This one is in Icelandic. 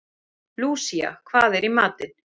Lúsía, hvað er í matinn?